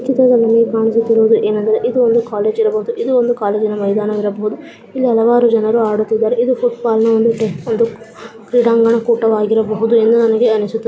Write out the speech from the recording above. ಈ ಚಿತ್ರದಲ್ಲಿ ಕಾಣಿಸುತ್ತಿರುವುದು ಏನೆಂದರೆ ಇದು ಒಂದು ಕಾಲೇಜಿ ರಬಹುದು ಇದು ಒಂದು ಕಾಲೇಜಿನ ಮೈದಾನ ಇರಬಹುದು ಇಲ್ಲಿ ಹಲವಾರು ಜನರು ಆಡುತ್ತಿದ್ದಾರೆ ಇದು ಫುಟಬಾಲ್ನ ಒಂದು ಒಂದು ಕೋ ಕ್ರೀಡಾಂಗಣ ಕೂಟವಾಗಿರಬಹುದು ಎಂದು ನನಗೆ ಅನಿಸುತ್ತ.